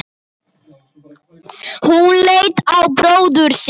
Hún leit á bróður sinn.